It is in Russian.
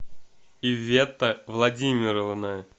иветта владимировна